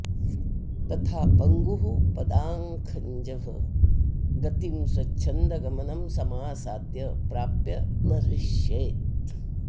तथा पङ्गुः पदाखञ्जः गतिं स्वच्छन्दगमनं समासाद्य प्राप्य न हृष्येत्